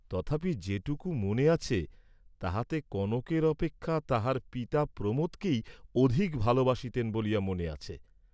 তথাপি যেটুক মনে আছে, তাহাতে কনকের অপেক্ষা তাহার পিতা প্রমোদকেই অধিক ভালবাসতেন বলিয়া মনে আছে।